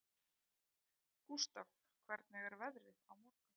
Gústaf, hvernig er veðrið á morgun?